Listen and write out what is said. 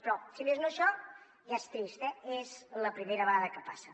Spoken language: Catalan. però si més no això ja és trist és la primera vegada que passa